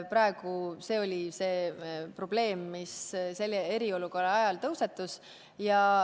Praegu oli see probleem, mis selle eriolukorra ajal tõusetus.